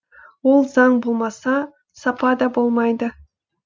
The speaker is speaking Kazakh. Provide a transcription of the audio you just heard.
ол заң болмаса сапа да болмайды